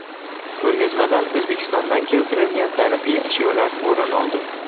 Ko‘rgazmadan O‘zbekistondan keltirilgan tarixiy ashyolar o‘rin oldi.